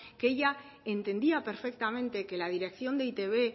que ella entendía perfectamente que la dirección de eitb